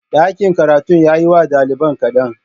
Ɗakin karatun ya yi wa ɗaliban kaɗan